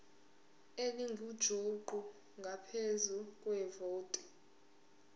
elingujuqu ngaphezu kwevoti